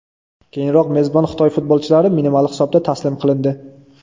Keyinroq mezbon Xitoy futbolchilari minimal hisobda taslim qilindi.